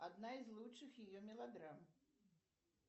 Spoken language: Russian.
одна из лучших ее мелодрам